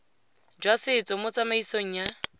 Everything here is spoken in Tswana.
jwa setso mo tsamaisong ya